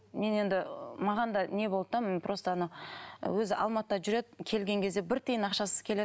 мен енді маған да не болды да мен просто ана өзі алматыда жүреді келген кезде бір тиын ақшасыз келеді